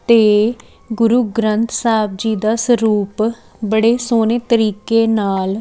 ਤੇ ਗੁਰੂ ਗ੍ਰੰਥ ਸਾਹਿਬ ਜੀ ਦਾ ਸਰੂਪ ਬੜੇ ਸੋਹਣੇ ਤਰੀਕੇ ਨਾਲ --